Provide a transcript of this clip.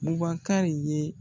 Bubakari ye